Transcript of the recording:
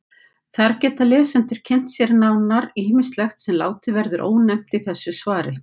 Þar geta lesendur kynnt sér nánar ýmislegt sem látið verður ónefnt í þessu svari.